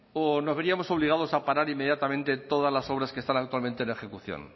o nos veríamos obligados a parar inmediatamente todas las obras que están actualmente en ejecución